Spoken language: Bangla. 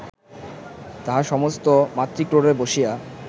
তাহা সমস্ত মাতৃক্রোড়ে বসিয়া